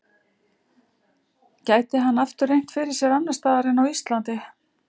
Gæti hann aftur reynt fyrir sér annars staðar en á Íslandi?